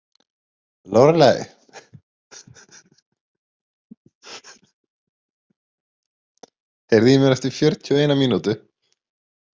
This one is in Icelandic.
Lóreley, heyrðu í mér eftir fjörutíu og eina mínútur.